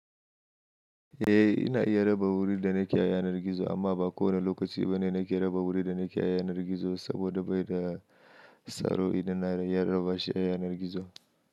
Eh ina iya raba wuri da nake ayanar gizo amma ba kowane lokaci bane nake raba wuri da nake yanar gizo saboda bai da tsaro idan na raba shi a yanar gizo.